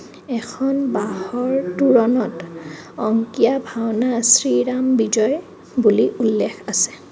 এখন বাঁহৰ তোৰণত অংকীয়া ভাওনা শ্ৰীৰাম বিজয় বুলি উল্লেখ আছে.